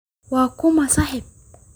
Waa kuma saaxiib?